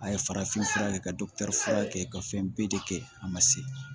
A ye farafin fura kɛ ka dɔgɔtɔrɔ kɛ ka fɛn bɛɛ de kɛ a ma se